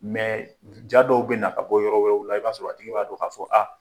ja dɔw bɛ na ka bɔ yɔrɔ wɛrɛw la i b'a sɔrɔ a tigi b'a dɔn k'a fɔ